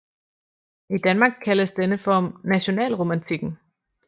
I Danmark kaldes denne form nationalromantikken